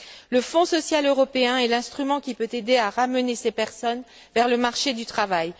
Le Fonds social européen est l'instrument qui peut aider à ramener ces personnes vers le marché du travail.